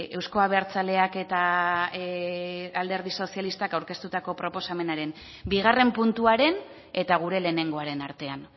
euzko abertzaleak eta alderdi sozialistak aurkeztutako proposamenaren bigarren puntuaren eta gure lehenengoaren artean